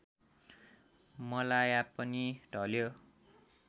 मलाया पनि ढल्यो